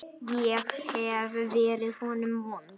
Ég hef verið honum vond.